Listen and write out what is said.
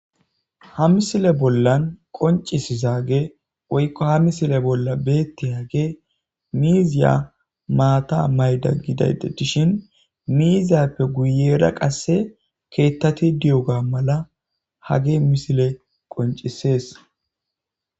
Ha misile bollan qoncisizage woykko ha misile bolla beetti hage miiziya maata mayda gidayde dishin miiziyappe guyera qasse keettati di7oga mala hage misile qoncisees